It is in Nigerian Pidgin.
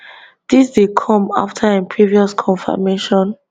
dis dey come afta im previous confirmation